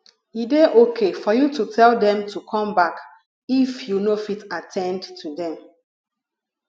e dey okay for you to tell them to come back if you no fit at ten d to them